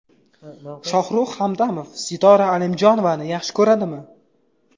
Shohrux Hamdamov Sitora Alimjonovani yaxshi ko‘radimi?